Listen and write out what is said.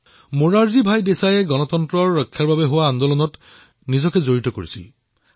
মোৰাৰজী ভাই দেশায়ে গণতন্ত্ৰৰ ৰক্ষাৰ বাবে জৰুৰীকালীন অৱস্থাৰ বিৰুদ্ধে আন্দোলনত নিজকে সঁপি দিছিল